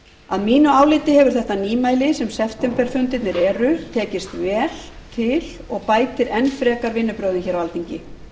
að mínu áliti hefur þetta nýmæli sem septemberfundirnir eru tekist vel til og bætir enn frekar vinnubrögðin hér á alþingi